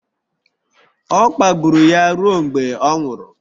Ọ kpagburu ya ruo mgbe ọ nwụrụ..